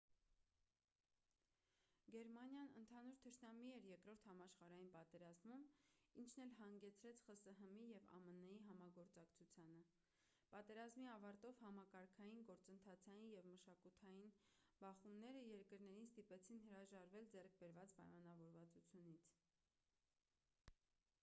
գերմանիան ընդհանուր թշնամի էր 2-րդ համաշխարհային պատերազմում ինչն էլ հանգեցրեց խսհմ-ի և ամն-ի համագործակցությանը պատերազմի ավարտով համակարգային գործընթացային և մշակութային բախոումները երկրներին ստիպեցին հրաժարվել ձեռք բերված պայմանավորվածությունից